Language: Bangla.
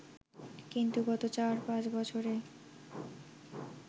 কিন্তু গত চার-পাঁচ বছরে